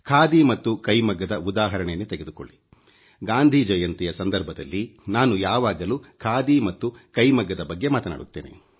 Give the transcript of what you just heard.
ಖಾದಿ ಮತ್ತು ಕೈಮಗ್ಗದ ಉದಾಹರಣೆಯನ್ನೇ ತೆಗೆದುಕೊಳ್ಳಿ ಗಾಂಧಿ ಜಯಂತಿಯ ಸಂದರ್ಭದಲ್ಲಿ ನಾನು ಯಾವಾಗಲೂ ಖಾದಿ ಮತ್ತು ಕೈಮಗ್ಗದ ಬಗ್ಗೆ ಮಾತನಾಡುತ್ತೇನೆ